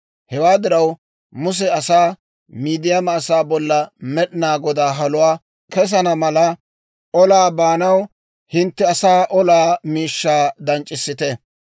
Hewaa diraw, Muse asaa, «Midiyaama asaa bolla Med'inaa Godaa haluwaa kessana mala olaa baanaw, hintte asaa olaa miishshaa danc'c'issite.